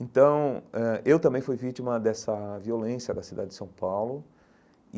Então, eh eu também fui vítima dessa violência da cidade de São Paulo e.